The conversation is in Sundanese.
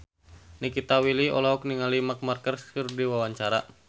Nikita Willy olohok ningali Marc Marquez keur diwawancara